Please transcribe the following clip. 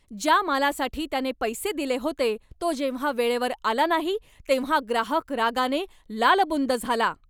ज्या मालासाठी त्याने पैसे दिले होते तो जेव्हा वेळेवर आला नाही तेव्हा ग्राहक रागाने लालबुंद झाला.